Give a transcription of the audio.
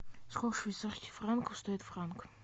сколько швейцарских франков стоит франк